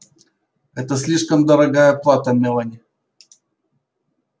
это слишком дорогая плата мелани